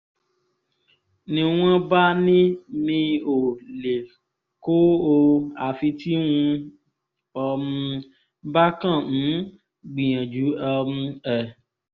ni wọ́n bá ní mi ò lè kó o àfi tí n um bá kàn ń gbìyànjú um ẹ̀